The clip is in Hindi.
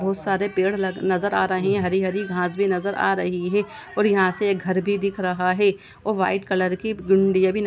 बहुत सारे पेड़ नज़र आ रहे है हरी-हरी घास भी नज़र आ रही है और यहाँ से एक घर भी दिख रहा है और व्हाइट कलर की --